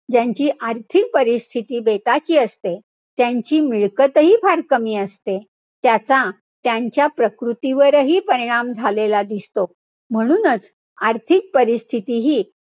ज्यांची आर्थिक परिस्थिती बेताची असते, त्यांची मिळकतही फार कमी असते. त्याचा त्यांच्या प्रकृतीवरही परिणाम झालेला दिसतो. म्हणूनच, आर्थिक परिस्थितीही,